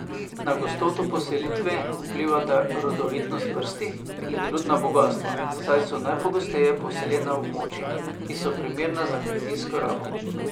Na gostoto poselitve vplivata rodovitnost prsti in rudna bogastva, saj so najgosteje poseljena območja, ki so primerna za kmetijsko rabo.